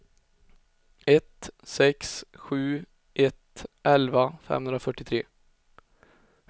ett sex sju ett elva femhundrafyrtiotre